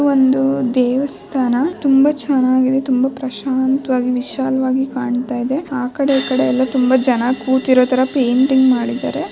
ಒಂದು ದೇವಸ್ಥಾನ ತುಂಬಾ ಚೆನ್ನಾಗಿದೆ ತುಂಬಾ ಪ್ರಶಾಂತವಾಗಿ ವಿಶಾಲ್ವಾಗಿ ಕಾಣ್ತಾ ಇದೆ ಆ ಕಡೆ ಈ ಕಡೆ ತುಂಬಾ ಜನ ಕೂತಿರೋತರ ಪೇಂಟಿಂಗ್ ಮಾಡಿದ್ದಾರೆ.